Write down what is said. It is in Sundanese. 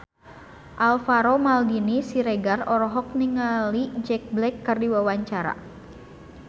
Alvaro Maldini Siregar olohok ningali Jack Black keur diwawancara